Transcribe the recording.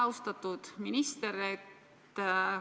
Austatud minister!